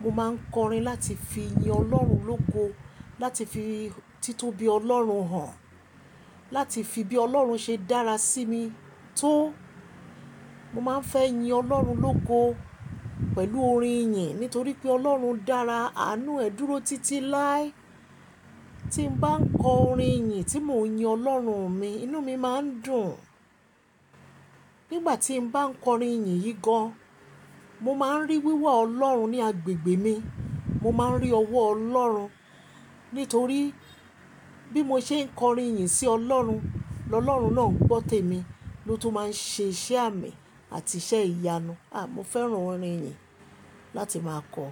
mo máa ń kọrin láti fi yin Ọlọ́run lógo, láti fi títóbi Ọlọ́run hàn, láti fi bí Ọlọ́run ṣe dára sí mi tó. Mo máa ń fẹ́ yin Ọlọ́run lógo pẹ̀lú orin ìyìn, nítorí pé Ọlọ́run dára, àánú ẹ̀ dúró títí láé. Tí n bá ń kọ orin ìyìn tí mò ń yin Ọlọ́run mi, inú mi máa ń dùn. Nígbà tí n bá ń kọ orin ìyìn yí gan an, mo máa ń rí wíwà Ọlọ́run ní agbègbè mi, mo máa ń rí ọwọ́ Ọlọ́run, nítorí bí mo ṣe ń kọ orin ìyìn sí Ọlọ́run, lọ̀lọ̀run náà ń gbọ́ tèmi, ló tún máa ń ṣe iṣẹ́ àmì àti iṣẹ́ ìyanu. Ah, mo fẹ́ràn orin ìyìn láti máa kọ.